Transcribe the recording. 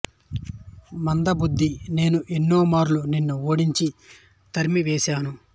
మంద బుద్ధీ నేను ఎన్నో మార్లు నిన్ను ఓడించి తరిమి వేసాను